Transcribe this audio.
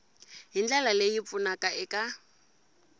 hi ndlela leyi pfunaka eka